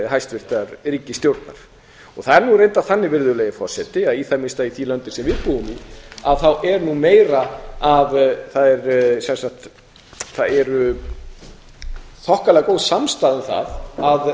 hæstvirtrar ríkisstjórnar það er nú reyndar þannig virðulegi forseti að í það minnsta í þeim löndum sem við búum er þokkalega góð samstaða um það að standa